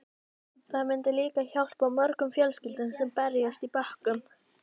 Það myndi líka hjálpa mörgum fjölskyldum sem berjast í bökkum.